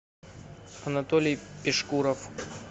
анатолий пешкуров